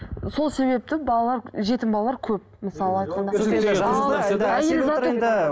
сол себепті балалар жетім балалар көп мысалы айтқанда